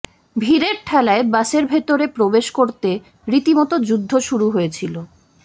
ভিড়ের ঠেলায় বাসের ভিতরে প্রবেশ করতে রীতি মতো যুদ্ধ শুরু হয়েছিল